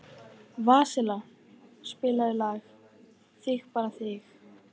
Vasilia, spilaðu lagið „Þig bara þig“.